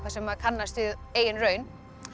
sem maður kannast við af eigin raun